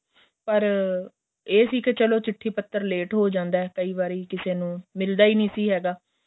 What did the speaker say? ਪਰ ਏਹ ਸੀ ਕੇ ਚਲੋਂ ਚਿੱਠੀ ਪੱਤਰ ਲੇਟ ਹੋ ਜਾਂਦਾ ਏ ਕਈ ਵਾਰੀ ਕਿਸੇ ਨੂੰ ਮਿਲਦਾ ਹੀ ਨਹੀਂ ਸੀ ਹੈਗਾ